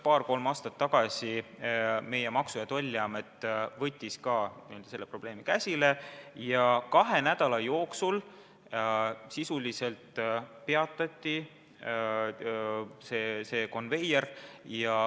Paar-kolm aastat tagasi meie Maksu- ja Tolliamet võttis ka selle probleemi käsile ja sisuliselt kahe nädala jooksul see konveier peatati.